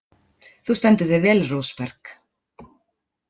Þú stendur þig vel, Rósberg!